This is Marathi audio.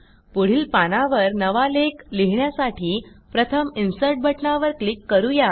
पुढील पानावर नवा लेख लिहिण्यासाठी प्रथम इन्सर्ट बटणावर क्लिक करू या